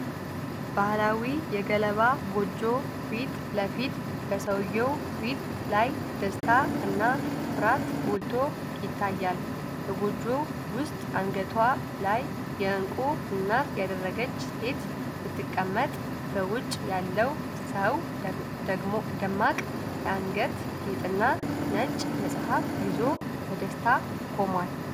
ባህላዊ የገለባ ጎጆ ፊት ለፊት፣ በሰውየው ፊት ላይ ደስታ እና ኩራት ጎልቶ ይታያል። በጎጆው ውስጥ አንገቷ ላይ የእንቁ እናት ያደረገች ሴት ስትቀመጥ፣ በውጪ ያለው ሰው ደማቅ የአንገት ጌጥና ነጭ መጽሐፍ ይዞ፣ በደስታ ቆሟል።